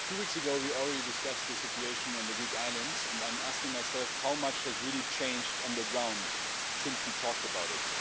Mr President, two weeks ago we discussed the situation on the Greek islands, and I'm asking myself how much has really changed on the ground since we talked about it.